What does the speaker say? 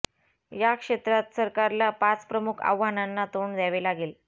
या क्षेत्रात सरकारला पाच प्रमुख आव्हानांना तोंड द्यावे लागेल